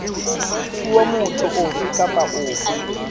fuwa motho ofe kapa ofe